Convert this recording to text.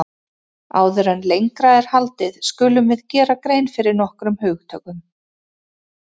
Áður en lengra er haldið skulum við gera grein fyrir nokkrum hugtökum.